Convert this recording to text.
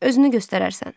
Özünü göstərərsən.